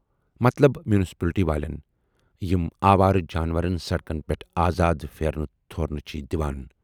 مطلب میوٗنسپلٹی والٮ۪ن، یِم آوارٕ جانورن سڑکن پٮ۪ٹھ آزاد پھیرنہٕ تھورنہٕ چھِ دِوان۔